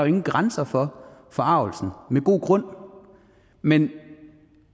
ingen grænser for forargelsen og med god grund men